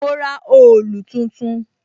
Mo ra òòlù tuntun.